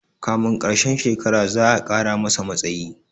kamin karshen shekara za'a Kara masa matsayi